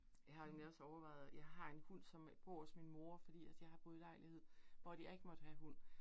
jeg har jo egentlig også overvejet, jeg har en hund, som bor hos min mor fordi at jeg har boet i lejlighed, hvor at jeg ikke måtte have hund